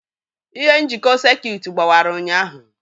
Ihe njikọ sekit gbawara ụnyaahụ.